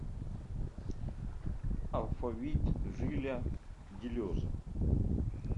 алфавит жиля делеза